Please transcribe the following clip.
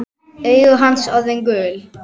Augu hans orðin gul.